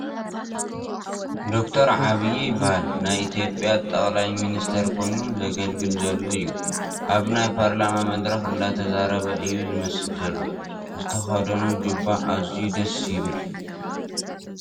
ዶ/ር ዐብይ ይበሃል ናይ ኢ/ያ ጠቕላ ሚኒስተር ኮይኑ ዘገልግል ዘሎ እዩ፡ ኣብ ናይ ፓርላማ መድረኽ እንዳተዛረበ እዩ ዝመስል ዘሎ ዝተኽደኖ ጁባ ኣዚዩ ደስ ይብል ።